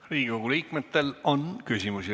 Riigikogu liikmetel on küsimusi.